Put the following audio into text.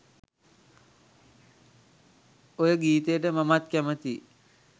ඔය ගීතයට මමත් කැමතියි